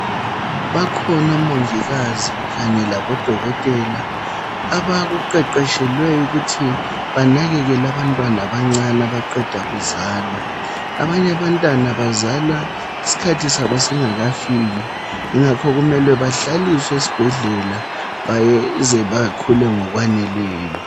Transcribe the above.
Bakhonomongikazi kanye labodokotela, abakuqeqeshelweyukuthi banakekelabantwana abancane abaqeda kuzalwa. Abanyabatana bazalwa iskhathi sabo singakafiki. Yingakho kumele bahlaliswe esbhedlela. Bayeze bakhule ngokwaneleyo.